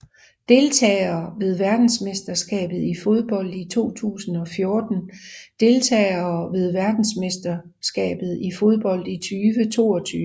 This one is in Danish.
Deltagere ved verdensmesterskabet i fodbold 2014 Deltagere ved verdensmesterskabet i fodbold 2022